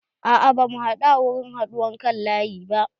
A'a ba mu haɗu a wurin haɗuwan kan laƴi ba.